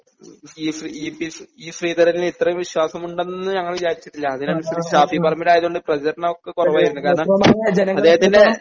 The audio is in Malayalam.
ഈ Shri E P Shri E ശ്രീധരനിൽ ഇത്രയും വിശ്വാസമുണ്ടെന്ന് ഞങ്ങൾ വിചാരിച്ചിട്ടില്ല അതിനനുസരിച്ച് ഷാഫി പറമ്പിൽ ആയതുകൊണ്ട് പ്രചരണമൊക്കെ കുറവായിരുന്നു കാരണം അദ്ദേഹത്തിൻ്റെ